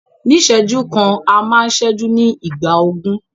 Ní ìṣẹ́jú kan, a máa ń ṣẹ́jú ní ìgbà ogún.